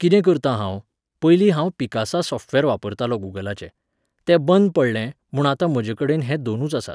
कितें करतां हांव, पयलीं हांव पिकासा सॉफ्टवॅर वापरतालों गुगलाचें. तें बंद पडलें, म्हूण आतां म्हजेकडेन हे दोनूच आसात.